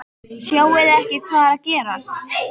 Sjáið þið ekki hvað er að gerast!